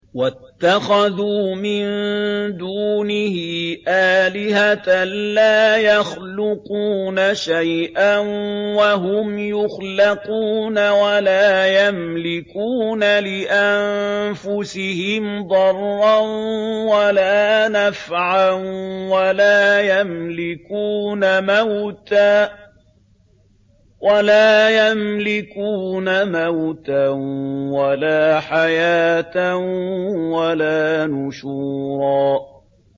وَاتَّخَذُوا مِن دُونِهِ آلِهَةً لَّا يَخْلُقُونَ شَيْئًا وَهُمْ يُخْلَقُونَ وَلَا يَمْلِكُونَ لِأَنفُسِهِمْ ضَرًّا وَلَا نَفْعًا وَلَا يَمْلِكُونَ مَوْتًا وَلَا حَيَاةً وَلَا نُشُورًا